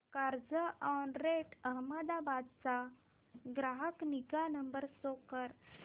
Carzonrent Ahmedabad चा ग्राहक निगा नंबर शो कर